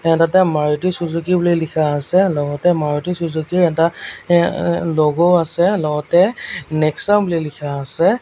ইয়াত এটা মাৰুটি চুজুকী বুলি লিখা আছে লগতে মাৰুটি চুজুকীৰ এটা এ এ ল'গ' আছে লগতে নেক্সা বুলি লিখা আছে।